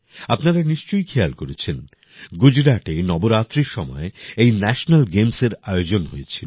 আপনারা নিশ্চয়ই খেয়াল করেছেন গুজরাটে নবরাত্রির সময় এই ন্যাশেনাল গেমসের আয়োজন হয়েছিল